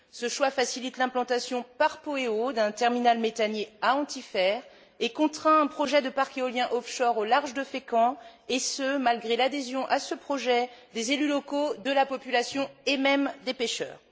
Ce choix facilite l'implantation par Poweo d'un terminal méthanier à Antifer et contraint un projet de parc éolien offshore au large de Fécamp et ce, malgré l'adhésion à ce projet des élus locaux, de la population et même des pêcheurs.